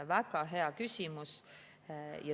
Väga hea küsimus.